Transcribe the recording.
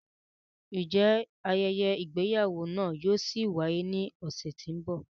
Njẹ ayẹyẹ igbeyawo náà yóò ṣi waye ni ọsẹ ti n bọ?